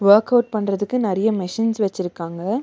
Work out பண்றதுக்கு நறிய machines வெச்சிருக்காங்க.